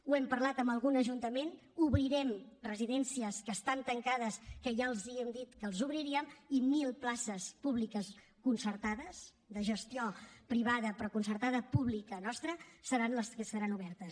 ho hem parlat amb algun ajuntament obrirem residències que estan tancades que ja els hem dit que les obriríem i mil places públiques concertades de gestió privada però concertada pública nostra seran les que seran obertes